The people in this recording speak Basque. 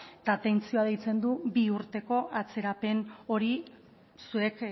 eta atentzioa deitzen du bi urteko atzerapen hori zuek